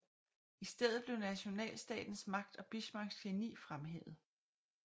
I stedet blev nationalstatens magt og Bismarcks geni fremhævet